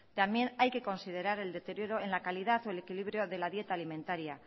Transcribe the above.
también hay que considerar el deterioro en la calidad o el equilibrio de la dieta alimentaria